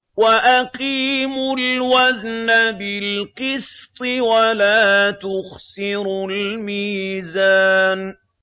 وَأَقِيمُوا الْوَزْنَ بِالْقِسْطِ وَلَا تُخْسِرُوا الْمِيزَانَ